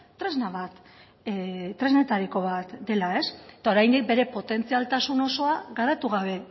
tresna bat tresnetariko bat dela eta oraindik bere potentzialtasun osoa garatu gabe